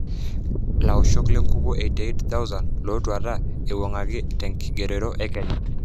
Laoshok le nkukuo 88,000 lotwata eiwangieki tenkigerore e Kenya.